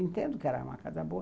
Eu entendo que era uma casa boa.